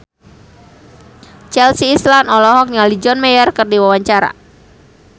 Chelsea Islan olohok ningali John Mayer keur diwawancara